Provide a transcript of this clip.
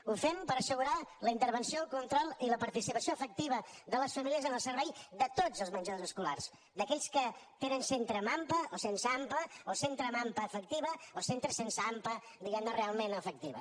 ho fem per assegurar la intervenció el control i la participació efectiva de les famílies en el servei de tots els menjadors escolars d’aquells que tenen centre amb ampa o sense ampa o centre amb ampa efectiva o centre sense ampa diguem ne realment efectiva